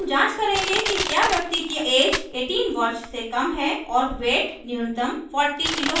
हम जांच करेंगे कि we व्यक्ति की ऐज 18 वर्ष से कम है और we न्यूनतम 40 kg है